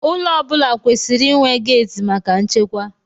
Ụlọ ọ bụla kwesịrị inwe geeti maka nchekwa.